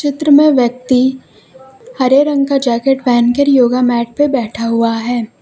चित्र में व्यक्ति हरे रंग का जैकेट पहन कर योगा मैट पे बैठा हुआ है।